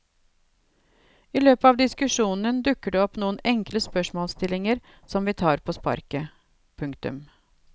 I løpet av diskusjonen dukker det opp noen enkle spørsmålsstillinger som vi tar på sparket. punktum